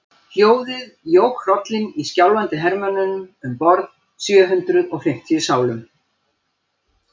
Hljóðið jók hrollinn í skjálfandi hermönnunum um borð, sjö hundruð og fimmtíu sálum.